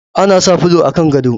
Ana sa fulo a kan gado